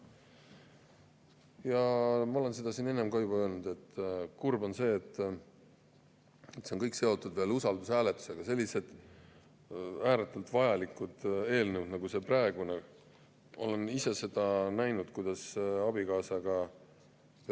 Ja ma olen seda siin enne ka juba öelnud, et kurb on see, et need kõik, sellised ääretult vajalikud eelnõud nagu see praegune, on seotud veel usaldushääletusega.